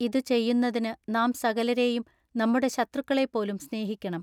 ഇതു ചെയ്യുന്നതിനു നാം സകലരെയും നമ്മുടെ ശത്രുക്കളെ പോലും സ്നേഹിക്കെണം.